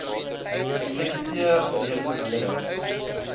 eksekuteur reeds oorledene